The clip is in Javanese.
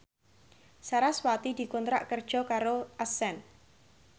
sarasvati dikontrak kerja karo Accent